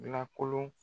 Lakolon